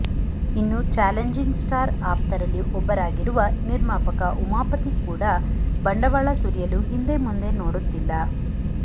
ಇನ್ನು challenging star ಆಪ್ತರಲ್ಲಿ ಒಬ್ಬರಾಗಿರುವ ನಿರ್ಮಾಪಕ ಉಮಾಪತಿ ಕೂಡ ಬಂಡವಾಳ ಸುರಿಯಲು ಹಿಂದೆ ಮುಂದೆ ನೋಡುತ್ತಿಲ್ಲ